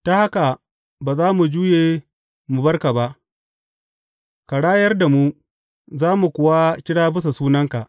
Ta haka ba za mu juye mu bar ka ba; ka rayar da mu, za mu kuwa kira bisa sunanka.